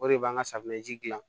O de b'an ka safunɛji dilan